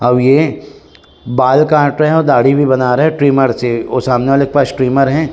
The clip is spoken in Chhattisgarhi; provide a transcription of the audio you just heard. अउ ये बाल काट रहा है दाढ़ी भी बना रहा है ट्रिमर से और सामने वाले के पास ट्रिमर है।